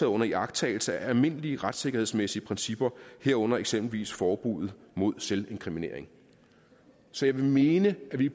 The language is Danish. under iagttagelse af almindelige retssikkerhedsmæssige principper herunder eksempelvis forbuddet mod selvinkriminering så jeg vil mene at vi